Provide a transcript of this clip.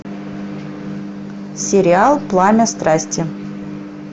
сериал пламя страсти